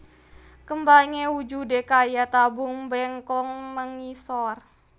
Kembangé wujudé kaya tabung mbengkong mengisor